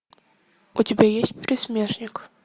у тебя есть пересмешник